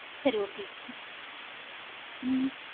சரி okay ஹம்